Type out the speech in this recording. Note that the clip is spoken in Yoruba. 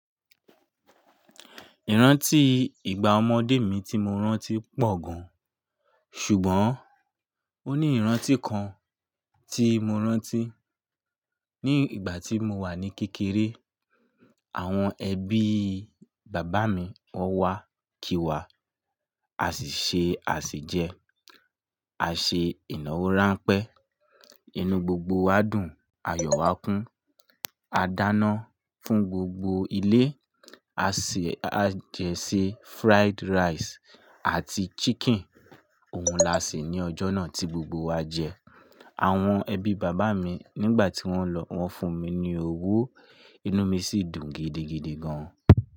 Ìrántí ìgbà ọmọdé mi tí mo rántí pọ̀ gan-an, ṣùgbọ́n ó ní ìrántí kan tí mo rántí. Ni ìgbà tí mo wà ní kékeré, àwọn ẹbí bàbá mi wọ́n wá kí wa, a sì ṣe àsèjẹ, a ṣe ìnáwó ránpẹ́. Inú gbogbo wa dùn ayo wa kun a dáná fún gbogbo ilé, a sì jẹ sé fried rice àti chicken. Ohun la ṣe ní ọjọ́ náà tí gbogbo wa jẹ. Àwọn ẹbí bàbá mi nígbà tí wọ́n lọ, wọ́n fún mi ní owó, inú mi sì dùn gidigidi gan-an.